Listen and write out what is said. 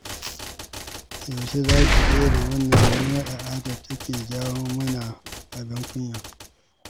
Yaushe za ki daina wannan mummunar al'adar da take jawo mana abin kunya.